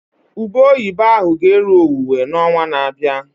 Ube oyibo ahụ ga eru owuwe na onwa na abịa